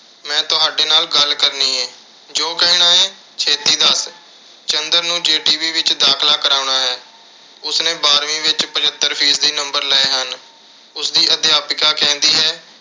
ਮੈਂ ਤੁਹਾਡੇ ਨਾਲ ਗੱਲ ਕਰਨੀਂ ਏ। ਜੋ ਕਹਿਣਾ ਏ ਛੇਤੀ ਦੱਸ। ਚੰਦਰ ਨੂੰ JBT ਵਿੱਚ ਦਾਖਲਾ ਕਰਾਉਣਾ ਏ। ਉਸਨੇ ਬਾਰ੍ਹਵੀਂ ਵਿੱਚ ਪਝੱਤਰ ਫੀਸਦਾ number ਲਏ ਹਨ। ਉਸਦੀ ਅਧਿਆਪਕਾ ਕਹਿੰਦੀ ਹੈ।